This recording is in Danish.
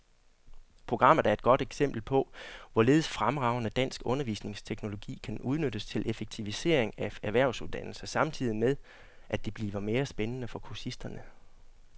Programmet er et godt eksempel på, hvorledes fremragende dansk undervisningsteknologi kan udnyttes til effektivisering af erhvervsuddannelser samtidig med, at det bliver mere spændende for kursisterne.